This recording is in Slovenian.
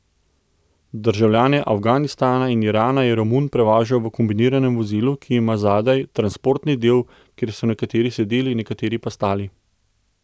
Državljane Afganistana in Irana je Romun prevažal v kombiniranem vozilu, ki ima zadaj transportni del, kjer so nekateri sedeli, nekateri pa stali.